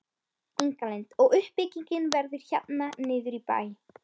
Inga Lind: Og uppbyggingin verður hérna niður í bæ?